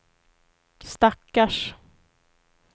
stackars